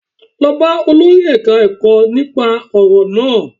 Lọ bá olórí ẹ̀ka-ẹkọ́ nípa ọ̀rọ̀ náà